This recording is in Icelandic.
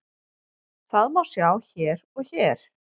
Það má sjá hér og hér.